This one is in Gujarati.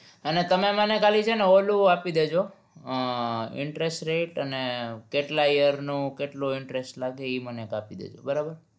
અને તમે મને ખાલી છે ને ઓલું આપી દેજો અમ interest rate અને કેટલા year નું કેટલું interest લાગે ઈ મને આપી દેજો